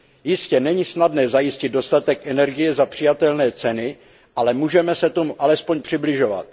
Jistě, není snadné zajistit dostatek energie za přijatelné ceny, ale můžeme se tomu alespoň přibližovat.